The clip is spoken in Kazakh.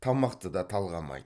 тамақты да талғамайды